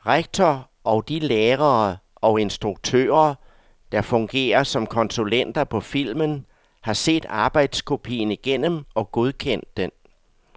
Rektor og de lærere og instruktører, der fungerer som konsulenter på filmen, har set arbejdskopien igennem og godkendt den.